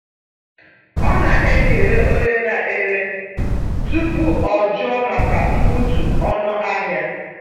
Ọ na-ekele onye na-ere tupu o jụọ maka mbutu ọnụ ahịa.